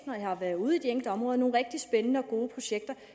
når jeg har været ude i de enkelte områder nogle rigtig spændende og gode projekter